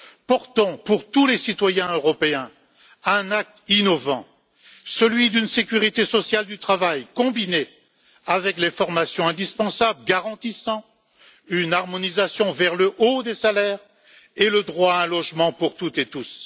Portons, pour tous les citoyens européens, un acte innovant, celui d'une sécurité sociale du travail combinée avec les formations indispensables garantissant une harmonisation vers le haut des salaires et le droit à un logement pour toutes et tous.